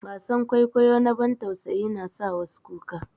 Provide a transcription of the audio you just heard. Wasan kwaikwayo na bantausayi na sa wasu kuka.